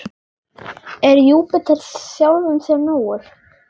Er Júpíter sjálfum sér nógur?